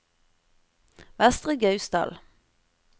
Vestre Gausdal